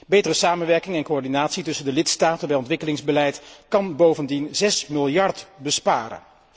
Betere samenwerking en coördinatie tussen de lidstaten bij ontwikkelingsbeleid kan bovendien 6 miljard besparen.